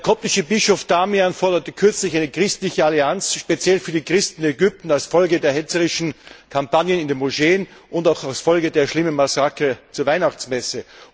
Der koptische Bischof Damian forderte kürzlich eine christliche Allianz speziell für die Christen in Ägypten als Folge der hetzerischen Kampagnen in den Moscheen und auch als Folge der schlimmen Massaker bei der Weihnachtsmesse.